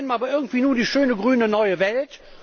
Da meint man aber irgendwie nur die schöne grüne neue Welt.